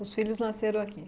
Os filhos nasceram aqui?